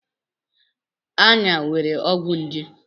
Ayan nwere ọgwụ nje.